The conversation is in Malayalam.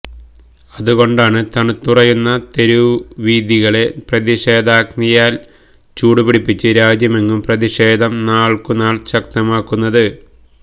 അതുകൊണ്ടാണ് തണുത്തുറയുന്ന തെരുവീഥികളെ പ്രതിഷേധാഗ്നിയാല് ചൂടുപിടിപ്പിച്ച് രാജ്യമെങ്ങും പ്രതിഷേധം നാള്ക്കുനാള് ശക്തമാകുന്നത്